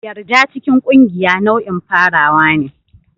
Yarda cikin ƙungiya nau'in farawa ne.